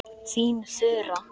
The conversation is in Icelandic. Þín Þura.